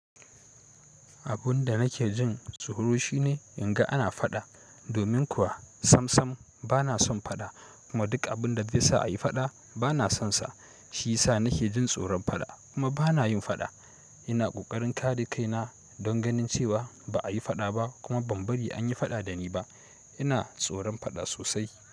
Abun da nake jin tsoro shine in ga ana faɗa. Domin kuwa sam sam bana son faɗa kuma duk abin da zai sa a yi faɗa bana sonsa. Shi ya sa nake jin tsoron faɗa kuma bana yin faɗa. Ina kokarin kare kaina don ganin cewa ba ayi faɗa ba kuma ban bari an yi faɗa dani ba. Ina tsoron faɗa sosai.